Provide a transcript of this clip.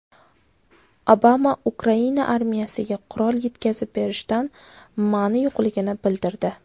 Obama Ukraina armiyasiga qurol yetkazib berishdan ma’ni yo‘qligini bildirdi.